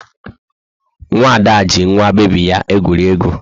Nwa Ada ji nwa bebi ya egwuri egwu.